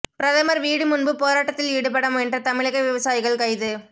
பிரதமர் வீடு முன்பு போராட்டத்தில் ஈடுபட முயன்ற தமிழக விவசாயிகள் கைது